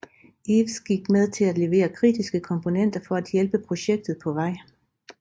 Hives gik med til at levere kritiske komponenter for at hjælpe projektet på vej